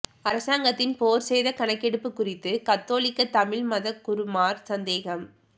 அரசாங்கத்தின் போர்ச் சேத கணக்கெடுப்பு குறித்து கத்தோலிக்க தமிழ் மதகுருமார் சந்தேகம்